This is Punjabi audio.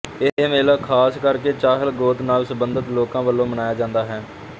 ਇਹ ਮੇਲਾ ਖਾਸ ਕਰਕੇ ਚਹਿਲ ਗੋਤ ਨਾਲ ਸਬੰਧਿਤ ਲੋਕਾਂ ਵੱਲੋਂ ਮਨਾਇਆ ਜਾਂਦਾ ਹੈ